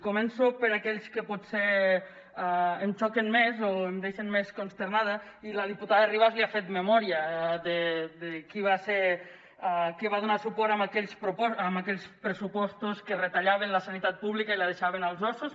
començo per aquells que potser em xoquen més o em deixen més consternada i la diputada ribas li ha fet memòria de qui va ser que va donar suport a aquells pressupostos que retallaven la sanitat pública i la deixaven als ossos